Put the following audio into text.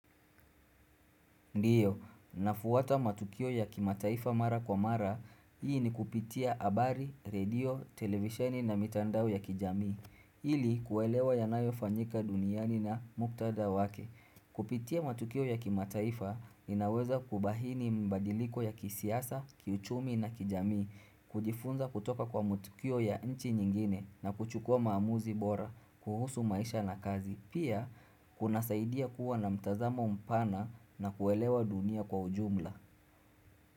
Ndiyo, nafwata matukio ya kimataifa mara kwa mara, hii ni kupitia habari, redio, televisheni na mitandao ya kijamii, ili kuelewa yanayofanyika duniani na muktadha wake. Kupitia matukio ya kimataifa, inaweza kubahini mabadiliko ya kisiasa, kiuchumi na kijamii, kujifunza kutoka kwa matukio ya nchi nyingine na kuchukua maamuzi bora, kuhusu maisha na kazi. Pia kuna saidia kuwa na mtazamo mpana na kuelewa dunia kwa ujumla.